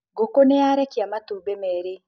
Ngũkũ nĩyarekia matumbĩ merĩ